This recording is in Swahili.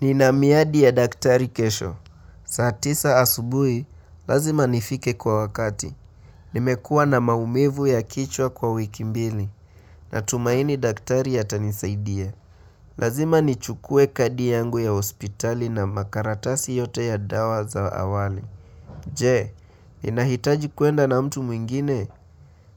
Nina miadi ya daktari kesho. Saa tisa asubuhi, lazima nifike kwa wakati. Nimekua na maumivu ya kichwa kwa wiki mbili. Natumaini daktari atanisaidia. Lazima nichukue kadi yangu ya hospitali na makaratasi yote ya dawa za awali. Je, ninahitaji kuenda na mtu mwingine?